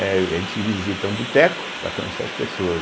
É, a gente visita um boteco para conhecer as pessoas.